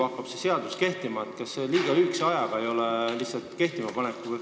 Kas selleks kehtimapanekuks ei ole liiga lühike aeg jäetud?